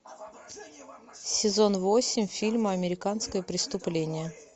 сезон восемь фильма американское преступление